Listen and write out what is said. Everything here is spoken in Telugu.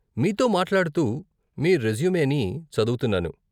మీతో మాట్లాడుతూ మీ రెజ్యుమేని చదువుతున్నాను.